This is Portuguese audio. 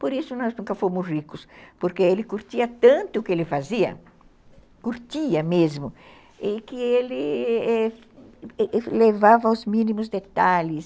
Por isso nós nunca fomos ricos, porque ele curtia tanto o que ele fazia, curtia mesmo, e que ele levava os mínimos detalhes.